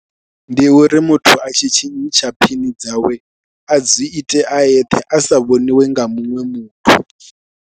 Ndi uri muthu a tshi tshintsha phini dzawe a dzi ite a eṱhe a sa vhoniwi nga muṅwe muthu.